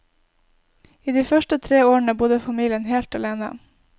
I de første tre årene bodde familien helt alene.